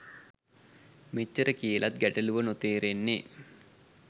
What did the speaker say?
මේච්චර කියලත් ගැටළුව නොතේරෙන්නෙ